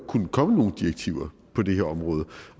kunne komme nogen direktiver på det her område